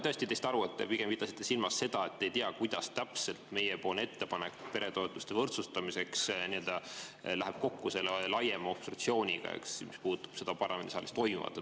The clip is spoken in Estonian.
Ma sain tõesti aru, et te pidasite silmas seda, et te ei tea, kuidas täpselt meie ettepanek peretoetuste võrdsustamiseks läheb kokku selle laiema obstruktsiooniga, eks, mis puudutab seda parlamendisaalis toimuvat.